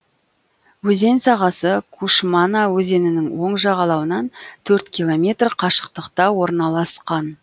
өзен сағасы кушмана өзенінің оң жағалауынан төрт километр қашықтықта орналасқан